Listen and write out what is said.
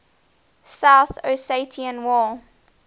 south ossetia war